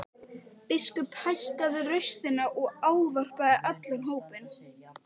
Biskup hækkaði raustina og ávarpaði allan hópinn.